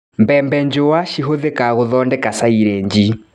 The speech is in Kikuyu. Mbembe njua cihũthĩkaga gũthondeka silĩji.